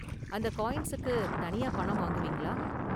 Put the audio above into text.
அந்த காயின்ஸுக்கு தனியா பணம் வாங்குவீங்களா?